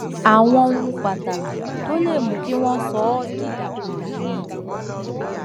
àwọn ohun pàtàkì tó lè mú kí wọn sọ ọ dìdàkudà ni